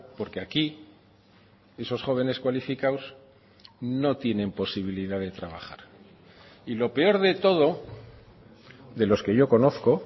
porque aquí esos jóvenes cualificados no tienen posibilidad de trabajar y lo peor de todo de los que yo conozco